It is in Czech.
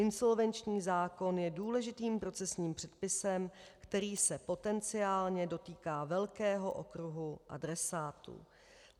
Insolvenční zákon je důležitým procesním předpisem, který se potenciálně dotýká velkého okruhu adresátů.